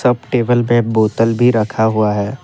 Table पे बोतल भी रखा हुआ है।